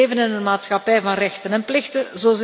We leven in een maatschappij van rechten en plichten.